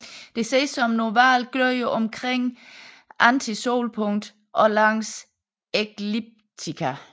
Det ses som en oval glød omkring antisolpunktet og langs ekliptika